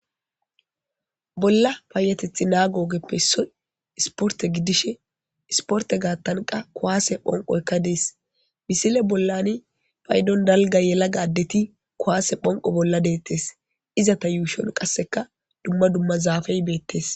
Bolla paayatethi naago ogeppe issoy isporte gidishin ,isporte gaattankka kuwaase phonqoykka dees. Misile bollani paydon dalga yelagaa nayit kuwaase phonqo bolla deettes. Izata yuushon qasseka dumma dumma zaafe beettes.